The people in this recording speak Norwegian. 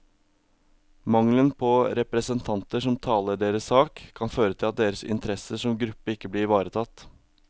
Mangelen på representanter som taler deres sak, kan føre til at deres interesser som gruppe ikke blir ivaretatt.